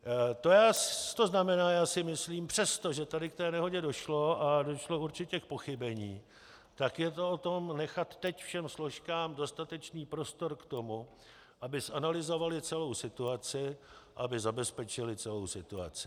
To znamená, já si myslím, přesto, že tady k té nehodě došlo a došlo určitě k pochybení, tak je to o tom nechat teď všem složkám dostatečný prostor k tomu, aby zanalyzovaly celou situaci, aby zabezpečily celou situaci.